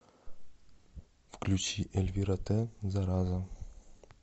включи эльвира тэ зараза